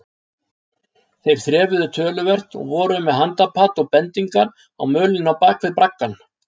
Þeir þrefuðu töluvert og voru með handapat og bendingar á mölinni á bak við braggann.